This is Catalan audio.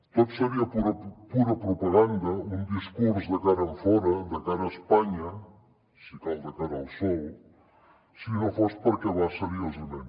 tot seria pura propaganda un discurs de cara enfora de cara a espanya si cal de cara al sol si no fos perquè va seriosament